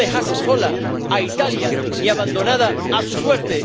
que no dejase sola a Italia y abandonada a su suerte